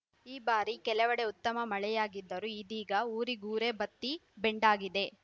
ಈ ಬಾರಿ ಕೆಲವೆಡೆ ಉತ್ತಮ ಮಳೆಯಾಗಿದ್ದರೂ ಇದೀಗ ಊರಿಗೂರೇ ಬತ್ತಿ ಬೆಂಗಾಡಾಗಿದೆ